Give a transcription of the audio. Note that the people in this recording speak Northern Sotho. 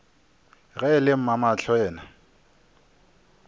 ge e le mamahlo yena